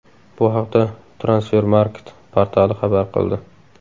Bu haqda Transfermarkt portali xabar qildi .